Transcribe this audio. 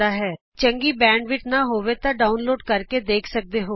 ਜੇ ਤੁਹਾਡੇ ਇੰਟਰਨੈਟ ਦੀ ਸਪੀਡ ਚੰਗੀ ਨਹੀਂ ਹੈ ਤਾਂ ਤੁਸੀਂ ਇਸ ਨੂੰ ਡਾਊਨਲੋਡ ਕਰਕੇ ਵੀ ਦੇਖ ਸਕਦੇ ਹੋ